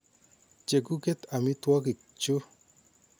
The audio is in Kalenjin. Che kuket amitwogik chu.